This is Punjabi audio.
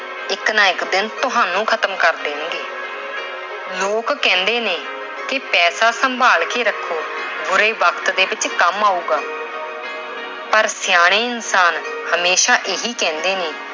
ਇੱਕ ਨਾ ਇੱਕ ਦਿਨ ਤੁਹਾਨੂੰ ਖਤਮ ਕਰ ਦੇਣਗੇ। ਲੋਕ ਕਹਿੰਦੇ ਨੇ ਪੈਸਾ ਸੰਭਾਲ ਕੇ ਰੱਖੋ, ਬੁਰੇ ਵਕਤ ਦੇ ਵਿੱਚ ਕੰਮ ਆਉਗਾ। ਪਰ ਸਿਆਣੇ ਇਨਸਾਨ ਹਮੇਸ਼ਾ ਇਹੀ ਕਹਿੰਦੇ ਨੇ